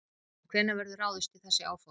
En hvenær verður ráðist í þessi áform?